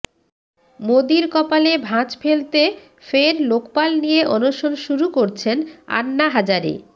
মোদীর কপালে ভাঁজ ফেলতে ফের লোকপাল নিয়ে অনশন শুরু করছেন আন্না হাজারে